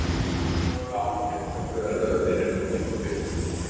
Hún er alveg ágæt, þrátt fyrir erfiða byrjun í Lengjubikarnum.